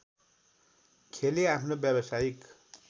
खेली आफ्नो व्यावसायिक